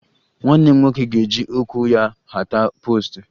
Nwanne m nwoke ga-eji ụkwụ ya hata poostu